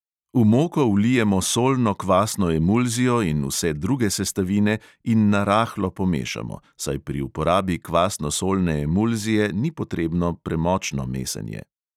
V moko vlijemo solno kvasno emulzijo in vse druge sestavine in na rahlo pomešamo, saj pri uporabi kvasno solne emulzije ni potrebno premočno mesenje.